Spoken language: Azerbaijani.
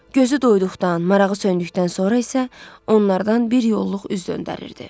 Gözü doyduqdan, marağı söndükdən sonra isə onlardan bir yolluq üz döndərirdi.